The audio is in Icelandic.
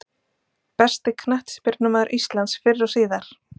Besti knattspyrnumaður íslands fyrr og síðar?